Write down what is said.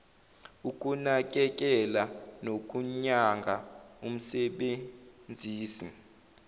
ukunakekela nokunyanga umsebenzisi